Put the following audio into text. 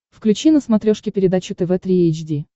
включи на смотрешке передачу тв три эйч ди